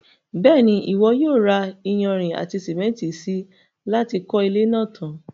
Bẹ́ẹ̀ni, Ìwọ yóò ra iyanrìn àti sìmẹ́ntì si láti kọ́ ilé náà tan.